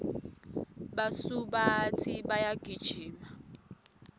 basubatsi bayagijima